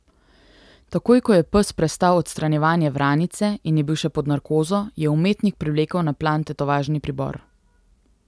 Takoj ko je pes prestal odstranjevanje vranice in je bil še pod narkozo, je umetnik privlekel na plan tetovažni pribor.